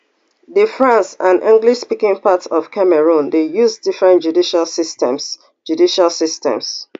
di french and englishspeaking parts of cameroon dey use different judicial systems judicial systems